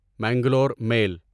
Mangalore میل